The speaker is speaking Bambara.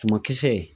Sumankisɛ